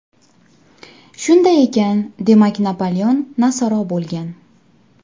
Shunday ekan, demak Napoleon nasoro bo‘lgan.